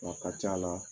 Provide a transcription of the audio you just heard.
A ka ca la